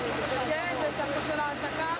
Sizdə hələ də xarici çıxır.